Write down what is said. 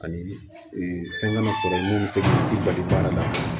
Ani fɛn kana sɔrɔ mun bɛ se k'i bali baara la